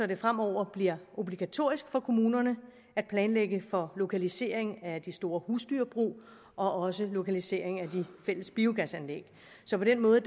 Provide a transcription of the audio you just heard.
det fremover bliver obligatorisk for kommunerne at planlægge for lokalisering af de store husdyrbrug og også lokalisering af de fælles biogasanlæg så på den måde